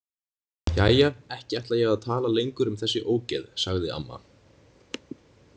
Jæja, ekki ætla ég að tala lengur um þessi ógeð, sagði amma.